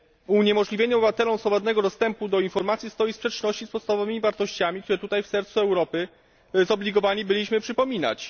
Uniemożliwienie obywatelom swobodnego dostępu do informacji stoi w sprzeczności z podstawowymi wartościami, które tutaj, w sercu Europy, zobligowani byliśmy przypominać.